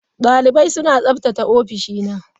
Dalibai suna tsaftace ofishina.